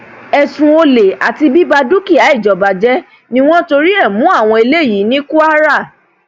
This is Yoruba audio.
ẹsùn olè àti bíba dúkìá ìjọba jẹ ni wọn torí ẹ mú àwọn eléyìí ní kwara